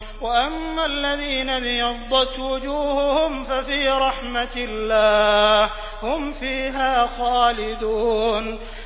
وَأَمَّا الَّذِينَ ابْيَضَّتْ وُجُوهُهُمْ فَفِي رَحْمَةِ اللَّهِ هُمْ فِيهَا خَالِدُونَ